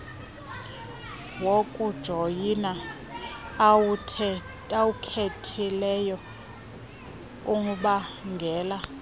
wokujoyina owukhethileyo ubangela